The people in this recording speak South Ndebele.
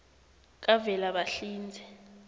kavelabahlinze